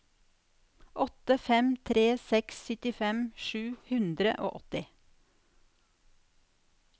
åtte fem tre seks syttifem sju hundre og åtti